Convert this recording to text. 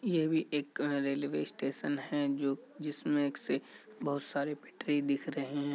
ये भी एक अ रेलवे स्टेशन है जो जिसमें एक से बहुत सारे पटरी दिख रहे है ।